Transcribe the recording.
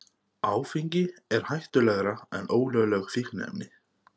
Áfengi hættulegra en ólögleg fíkniefni